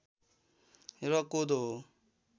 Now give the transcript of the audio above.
र कोदो हो